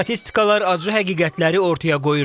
Statistikalar acı həqiqətləri ortaya qoyur.